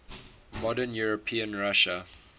modern european russia